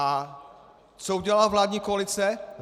A co udělala vládní koalice?